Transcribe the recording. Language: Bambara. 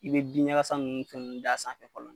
I bɛ binɲagasa ninnu fɛnɛ d'a sanfɛ fɔlɔ